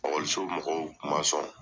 Okɔliso mɔgɔw kun ma sɔn